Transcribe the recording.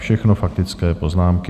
Všechno faktické poznámky.